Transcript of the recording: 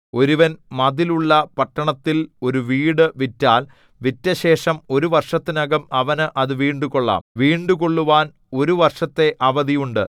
ഒരുവൻ മതിലുള്ള പട്ടണത്തിൽ ഒരു വീടു വിറ്റാൽ വിറ്റശേഷം ഒരു വർഷത്തിനകം അവന് അത് വീണ്ടുകൊള്ളാം വീണ്ടുകൊള്ളുവാൻ ഒരു വർഷത്തെ അവധി ഉണ്ട്